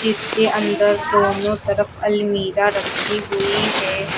इसके अंदर दोनों तरफ अलमीरा रखी हुई है।